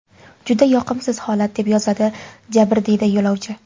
Juda yoqimsiz holat”, deb yozadi jabrdiyda yo‘lovchi.